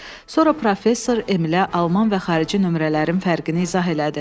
Sonra professor Emilə alman və xarici nömrələrin fərqini izah elədi.